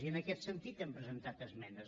i en aquest sentit hem presentat esmenes